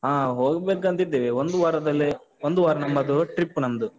ಹಾ. ಹೋಗ್ಬೇಕಂತಿದ್ದೇವೆ. ಒಂದು ವಾರದಲ್ಲಿ, ಒಂದು ವಾರ ನಮ್ಮದು trip ನಮ್ದು.